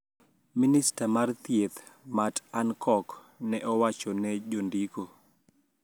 Minista mar thieth Matt Hancock ne owacho ne jondiko